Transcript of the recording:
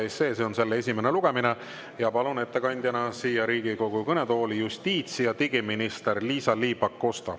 See on selle esimene lugemine ja palun ettekandjana siia Riigikogu kõnetooli justiits‑ ja digiminister Liisa-Ly Pakosta.